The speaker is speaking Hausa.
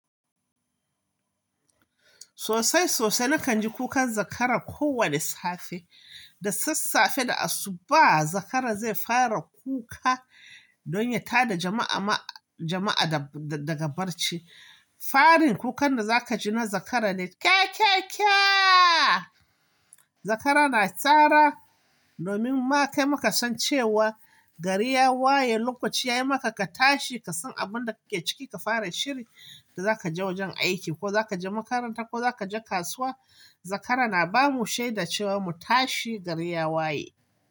Sosai sosai na kan ji kukan zakara ko wani safe. Da sassafe da asubahi zakara zai fara kuka don ya tada jama'a, jama'a da daga barci. Farin kukan da za ka ji na zakara ne. "Kya kya kya". Zakara na cara domin ma kaima kasan cewa gari ya waye, lokaci ya yi maka ka tashi ka san abun da ka ke ciki ka fara shiri. Za ka je wajen aiki, ko za ka je makaranta, ko za ka je kasuwa. Zakara na bamu shaida cewa mu tashi gari ya waye.